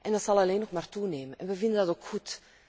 Dat zal alleen nog maar toenemen en we vinden dat ook goed.